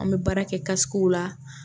An bɛ baara kɛ la